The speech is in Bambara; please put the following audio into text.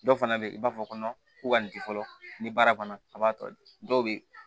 Dɔw fana bɛ yen i b'a fɔ ko ko ka nin di fɔlɔ ni baara banna a b'a tɔ di dɔw bɛ yen